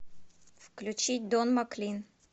включи дон маклин